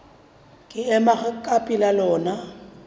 ke ema ka pela lona